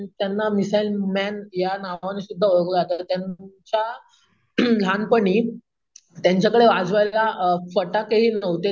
त्यांना missile man या नावाने सुद्धा ओळखले जात, त्यांच्या अम लहानपणीअम त्यांच्याकडे वाजवायला फटाकेही नव्हते,